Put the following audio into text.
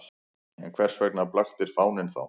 En hvers vegna blaktir fáninn þá?